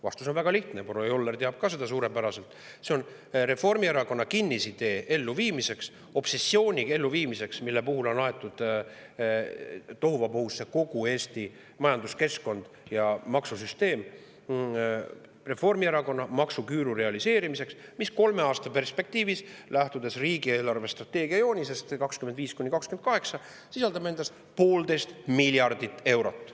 Vastus on väga lihtne, proua Joller teab ka seda suurepäraselt: Reformierakonna kinnisidee elluviimiseks, obsessiooni elluviimiseks, mille tõttu on tohuvabohu kogu Eesti majanduskeskkonnas ja maksusüsteemis, Reformierakonna maksuküüru realiseerimiseks, mis kolme aasta perspektiivis, lähtudes riigi eelarvestrateegia joonisest 2025–2028, sisaldab endas 1,5 miljardit eurot.